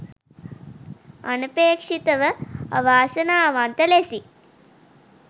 අනපේක්ෂිතව අවාසනාවන්ත ලෙසින්